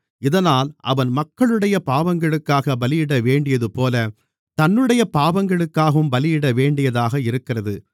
இதனால் அவன் மக்களுடைய பாவங்களுக்காகப் பலியிடவேண்டியதுபோல தன்னுடைய பாவங்களுக்காகவும் பலியிடவேண்டியதாக இருக்கிறது